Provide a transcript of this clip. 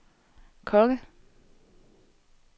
konge